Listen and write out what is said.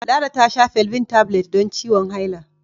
Lara ta sha Felvin Tablets don ciwon haila.